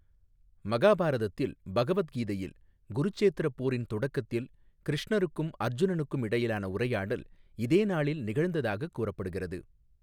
மகாபாரதத்தில், பகவத் கீதையில், குருச்சேத்திரப் போரின் தொடக்கத்தில் கிருஷ்ணருக்கும் அர்ஜுனனுக்கும் இடையிலான உரையாடல் இதே நாளில் நிகழ்ந்ததாகக் கூறப்படுகிறது.